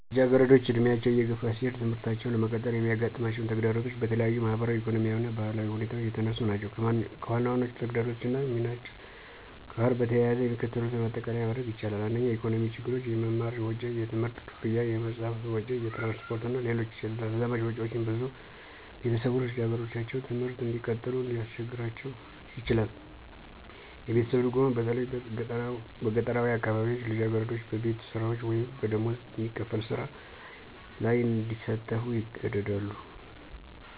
ልጃገረዶች ዕድሜያቸው እየገፋ ሲሄድ ትምህርታቸውን ለመቀጠል የሚያጋጥማቸው ተግዳሮቶች በተለያዩ ማኅበራዊ፣ ኢኮኖሚያዊ እና ባህላዊ ሁኔታዎች የተነሱ ናቸው። ከዋናዎቹ ተግዳሮቶች እና ሚናቸው ጋር በተያያዘ የሚከተሉትን ማጠቃለያ ማድረግ ይቻላል። 1. **የኢኮኖሚ ችግሮች** - **የመማር ወጪ** የትምህርት ክፍያ፣ የመጽሐፍ ወጪ፣ የትራንስፖርት እና ሌሎች ተዛማጅ ወጪዎች ብዙ ቤተሰቦች ልጃገረዶቻቸውን ትምህርት እንዲቀጥሉ እንዲያስቸግራቸው ይችላል። - **የቤተሰብ ድጎማ** በተለይ በገጠራዊ አካባቢዎች ልጃገረዶች በቤት ስራዎች ወይም በደሞዝ የሚከፈል ሥራ ላይ እንዲሳተፉ ይገደዳሉ